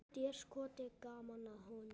Déskoti gaman að honum.